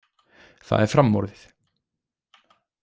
Það er framorðið.